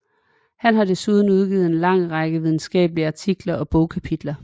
Han har desuden udgivet en lang række videnskabelige artikler og bogkapitler